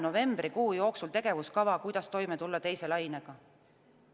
Novembrikuu jooksul tuleb tegevuskava, kuidas toime tulla teise lainega.